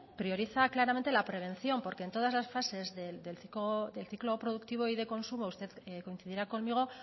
prioriza claramente la prevención porque en todas las fases del ciclo productivo y de consumo usted coincidirá conmigo